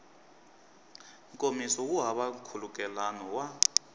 nkomiso wu hava nkhulukelano wa